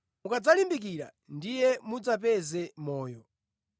Mukadzalimbikira ndiye mudzapeze moyo.